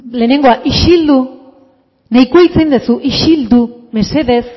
lehenengoa isildu nahikoa hitz egin duzu isildu mesedez